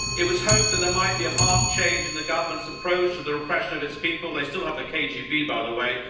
It was hoped that there might be a marked change in the government's approach to the repression of its people, they still have the KGB, by the way.